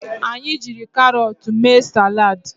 Anyị jiri carọọtụ mee salad